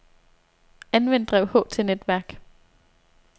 Anvend drev H til netværk.